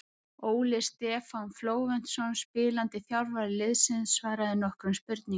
Óli Stefán Flóventsson spilandi þjálfari liðsins svaraði nokkrum spurningum.